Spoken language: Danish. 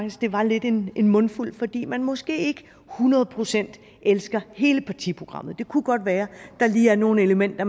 at det var lidt af en mundfuld fordi man måske ikke hundrede procent elskede hele partiprogrammet det kunne godt være at der lige var nogle elementer